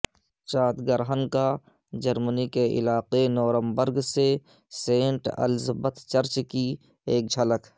چاند گرہن کا جرمنی کے علاقے نورمبرگ سے سینٹ الزبتھ چرچ کی سے ایک جھلک